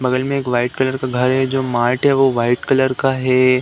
बगल में एक वाइट कलर का घर है जो मार्ट है वो वाइट कलर का है।